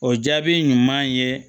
O jaabi ɲuman ye